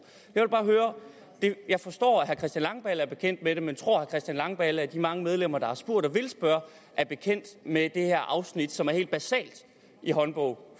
jeg forstår at herre christian langballe er bekendt med det men tror herre christian langballe at de mange medlemmer der har spurgt og vil spørge er bekendt med det her afsnit som er helt basalt i håndbog